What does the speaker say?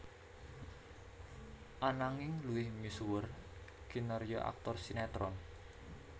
Ananging luwih misuwur kinarya aktor sinétron